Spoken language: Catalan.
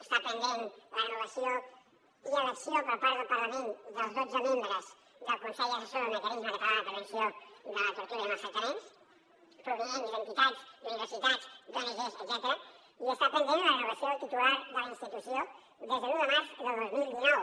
està pendent la renovació i elecció per part del parlament dels dotze membres del consell assessor del mecanisme català per a la prevenció de la tortura i els maltractaments provinent d’entitats universitats d’ongs etcètera i està pendent la renovació del titular de la institució des de l’un de març del dos mil dinou